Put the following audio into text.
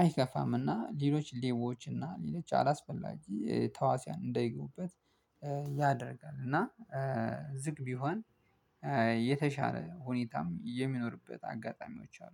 አይከፋም። እና ሌሎች ሌቦች እና ሌሎች አላስፈላጊ ተዋስያን እንዳይገቡበት ያደርጋል። እና ዝግ ቢሆን የተሻለ ሁኔታም የሚኖርበት አጋጣሚዎች አሉ